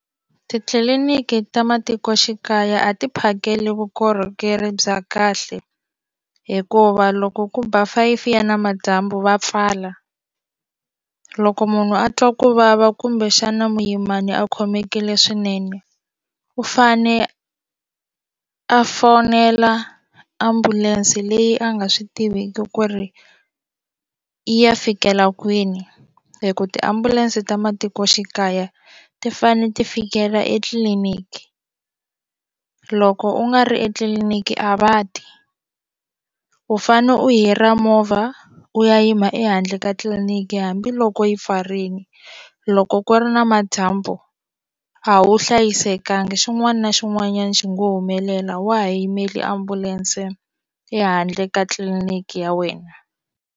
Titliliniki ta matikoxikaya a ti phakeli vukorhokeri bya kahle hikuva loko ku ba five ya namadyambu va pfala loko munhu a twa ku vava kumbexana muyimani a khomekile swinene u fane a a fonela ambulense leyi a nga swi tiviki ku ri yi ya fikela kwini hi ku tiambulense ta matikoxikaya ti fane ti fikelela etliliniki loko u nga ri etliliniki a va ti u fane u hira movha u ya yima ehandle ka tliliniki hambiloko yi pfarile loko ku ri namadyambu u a wu hlayisekanga xin'wana na xin'wanyana xi ngo humelela wa ha yimele ambulense ehandle ka tliliniki ya wena.